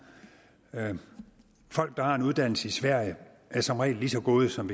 folk der har en uddannelse i sverige er som regel lige så gode som